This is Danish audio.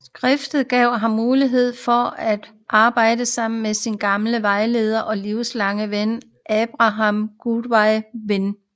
Skiftet gav ham også mulighed for at arbejde sammen med sin gamle vejleder og livslange ven Abraham Gottlob Werner